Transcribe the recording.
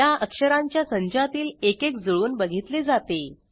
या अक्षरांच्या संचातील एकेक जुळवून बघितले जाते